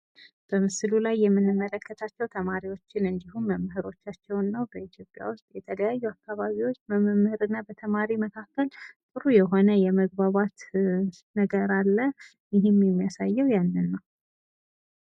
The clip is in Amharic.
በምስሉ ላይ የምንመለከታቸው ተማሪዎችን እንድሁም መምህሮቻቸውን ነው። በኢትዮጵያ ውስጥ የተለያዩ አካባቢዎች በመምህር እና በተማሪ መካከል ጥሩ የሆነ የመግባባት ነገር አለ። ይህም የሚያሳየው ያንን ነው።